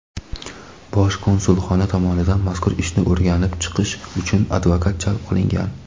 Bosh konsulxona tomonidan mazkur ishni o‘rganib chiqish uchun advokat jalb qilingan.